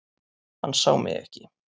Hann sá mig ekki.